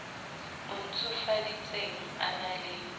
o ntshofaditsweng a na le